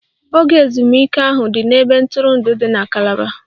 Oge ezumike ahụ dị n'ebe ntụrụndụ dị na Calaba